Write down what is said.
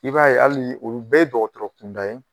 I b'a ye hali olu bɛɛ ye dɔgɔtɔrɔ kunda ye